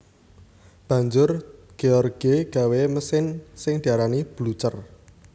Banjur George gawé mesin sing diarani Blucher